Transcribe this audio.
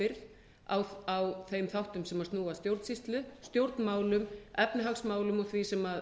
undan ábyrgð á þeim þáttum sem snúa að stjórnsýslu stjórnmálum efnahagsmálum og því sem